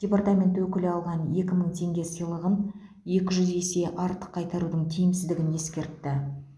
департамент өкілі алған екі мың теңге сыйлығын екі жүз есе артық қайтарудың тиімсіздігін ескертті